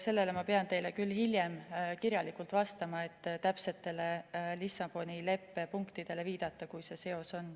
Sellele ma pean teile küll hiljem kirjalikult vastama, et täpsetele Lissaboni leppe punktidele viidata, kui see seos on.